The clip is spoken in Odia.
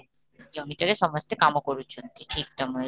ଜମିଟାରେ ସମସ୍ତେ କାମ କରୁଛନ୍ତି ଠିକ ସମୟରେ